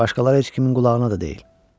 Başqaları heç kimin qulağına da deyil.